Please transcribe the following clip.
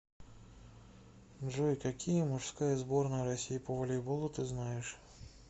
джой какие мужская сборная россии по волейболу ты знаешь